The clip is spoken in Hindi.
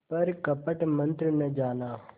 पर कपट मन्त्र न जाना